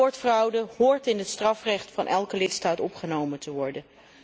Sportfraude hoort in het strafrecht van elke lidstaat opgenomen te worden.